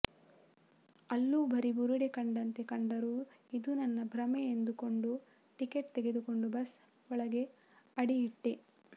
ಅಲ್ಲೂ ಬರೀ ಬುರುಡೆ ಕಂಡಂತೆ ಕಂಡರೂ ಇದು ನನ್ನ ಭ್ರಮೆ ಎಂದುಕೊಂಡು ಟಿಕೆಟ್ ತೆಗೆದುಕೊಂಡು ಬಸ್ ಒಳಗೆ ಅಡಿ ಇಟ್ಟೆ